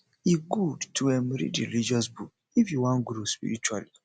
e gud to um read religious book if yu wan grow spiritually